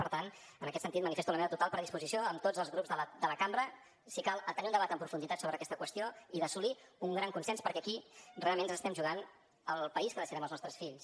per tant en aquest sentit manifesto la meva total predisposició amb tots els grups de la cambra si cal a tenir un debat en profunditat sobre aquesta qüestió i per assolir un gran consens perquè aquí realment ens estem jugant el país que deixarem als nostres fills